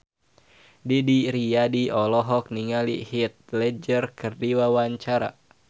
Didi Riyadi olohok ningali Heath Ledger keur diwawancara